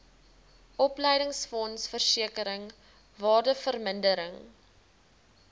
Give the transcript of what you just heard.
opleidingsfonds versekering waardevermindering